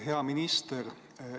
Hea minister!